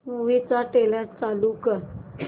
movie चा trailer चालव